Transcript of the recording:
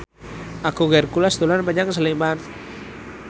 Agung Hercules dolan menyang Sleman